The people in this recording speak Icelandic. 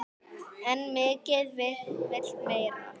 En mikið vill meira.